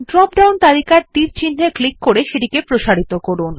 drop down তালিকার তীর চিন্হে ক্লিক করে সেটিকে প্রসারিত করুন